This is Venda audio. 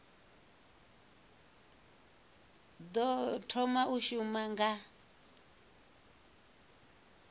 ḓo thoma u shuma nga